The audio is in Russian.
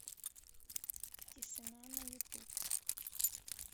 тишина на ютуб